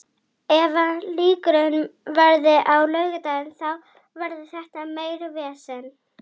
Og fyrir ofan þorpið reis gulleitur hamarinn þverhníptur einsog veggur Almannagjár.